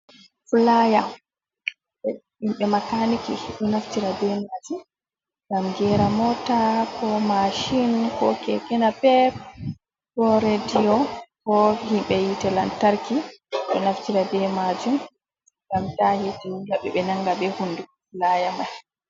Filaya himɓe makaniki ɗo naftira be majum ngam gera mota, ko mashin, ko keke napep, redio. Bo himɓe yiite lantarki ɗo naftira be majum ngam ta hiite wulaɓe ɓe nanga be hunduko filaya mai.